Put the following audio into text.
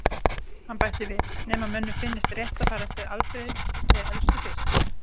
Hann bætti við: Nema mönnum finnist rétt að fara eftir aldri- þeir elstu fyrst